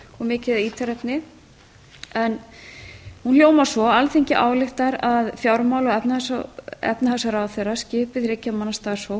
mikið af ítarefni hún hljómar svo alþingi ályktar að fjármála og efnahagsráðherra skipi þriggja manna starfshóp